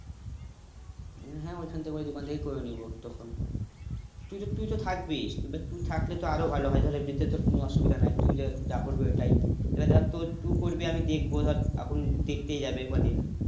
উম হ্যাঁ ওইখান থেকে ওই দোকান থেকে করে নিবো তখন তুই~তুই তো থাকবিস এবার তুই থাকলে তো আরও ভালো হয় ধর এমনিতে তোর কোনও অসুবিধা নেই তুই যার যা করবি ওইটাই এবার ধর তো তুই করবি আমি দেখবো ধর এখন দেখতেই যাবে কদিন